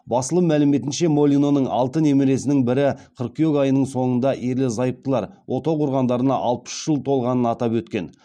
басылым мәліметінше молиноның алты немересінің бірі қыркүйек айының соңында ерлі зайыптылар отау құрғандарына алпыс үш жыл толғанын атап өткен